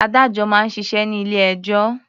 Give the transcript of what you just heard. Adájọ́ máa ń ṣiṣẹ́ ní ilé-ẹjọ́.